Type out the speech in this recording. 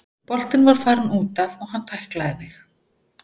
Boltinn var farinn útaf og hann tæklaði mig.